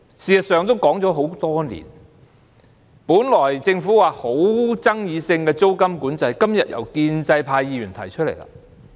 事實上，這議題已討論多年，本來政府認為極富爭議性的租金管制，今天也由建制派議員提出來。